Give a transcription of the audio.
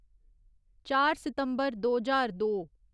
चार सितम्बर दो ज्हार दो